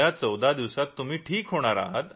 पुढल्या 14 दिवसात तुम्ही ठीक होणार आहात